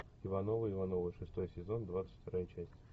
ивановы ивановы шестой сезон двадцать вторая часть